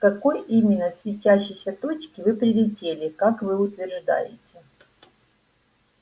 с какой именно светящейся точки вы прилетели как вы утверждаете